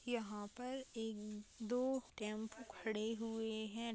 यहां पर एक दो टेंपो खड़े हुए हैं।